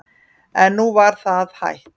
En nú var það hætt.